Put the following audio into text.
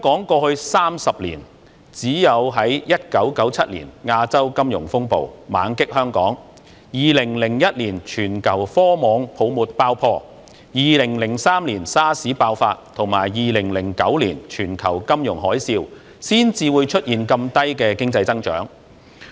過去30年，只有在1997年亞洲金融風暴猛擊香港、2001年全球科網泡沫爆破、2003年 SARS 爆發，以及2009年全球金融海嘯，才出現如此低的經濟增長。